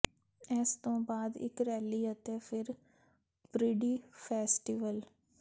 ਇਸ ਤੋਂ ਬਾਅਦ ਇੱਕ ਰੈਲੀ ਅਤੇ ਫਿਰ ਪ੍ਰਿਡੀ ਫੈਸਟੀਵਲ